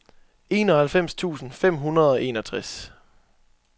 enoghalvfems tusind fem hundrede og enogtres